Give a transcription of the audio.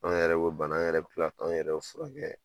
An yɛrɛ bɛ bana an yɛrɛ bɛ tila an yɛrɛ furakɛ